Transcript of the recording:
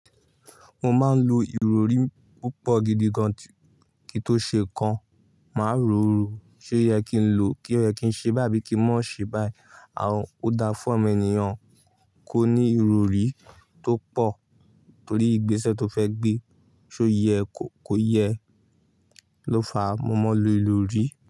Mo máa ń lo ìrọrí púpọ̀ gidi gan kí tó ṣe kan, má ro ro. Ṣé oyẹ kí n lò kí obyẹ kí n ṣe bái abi kí n mọ́ ṣe báì? Àún, ó dá fún awon ènìyàn kò ní ìrọrí tó pọ̀ torí ìgbésẹ̀ tó fẹ́ gbé. Ṣé ó yẹ kó kò yẹ ló fa mọ́mọ́ lo ìrọrí?